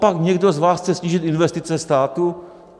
Copak někdo z vás chce snížit investice státu?